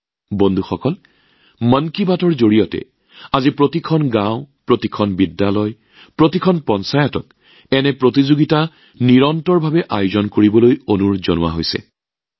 বন্ধুসকল মন কী বাতৰ জৰিয়তে আজি প্ৰতিখন গাওঁ প্ৰতিখন বিদ্যালয় প্ৰতিখন পঞ্চায়তত এনেধৰণৰ প্ৰতিযোগিতা নিয়মীয়াকৈ আয়োজন কৰিবলৈ অনুৰোধ জনালোঁ